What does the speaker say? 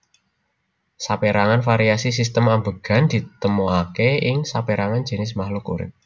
Sapérangan variasi sistem ambegan ditemoaké ing sapérangan jinis makluk urip